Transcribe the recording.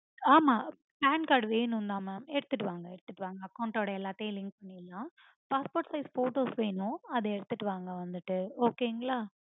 ஆமா pan card வேணும் தா மா. எடுத்துட்டு வாங்க எடுத்துட்டு வாங்க. account ஓட எல்லாத்தையும் link பண்ணிரலாம். passport size photos வேணும் அத எடுத்துட்டு வாங்க வந்துட்டு okay ங்களை